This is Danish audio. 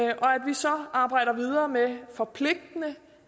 vi så arbejder videre med forpligtende